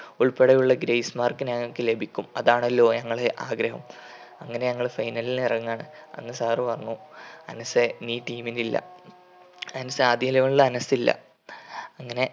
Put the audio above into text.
ഉൾപ്പടെയുള്ള grace mark ഞങ്ങൾക്ക് ലഭിക്കും. അതാണല്ലോ ഞങ്ങളെ ആഗ്രഹം. അങ്ങനെ ഞങ്ങൾ final ലിൽ ഇറങ്ങു ആണ്. അന്ന് sir പറഞ്ഞു അനസെ നീ team ൽ ഇല്ല. അനസ് ആദ്യ eleven നിൽ അനസ് ഇല്ല അങ്ങനെ